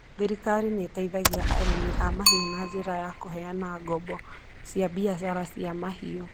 Thirikari nĩ ĩteithagia arĩithi a mahiũ na njĩra ya kũheana ngombo cia biacara cia mahiũ.